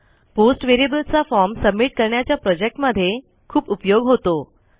post व्हेरिएबलचा form submit करण्याच्या प्रोजेक्टमध्ये खूप उपयोग होतो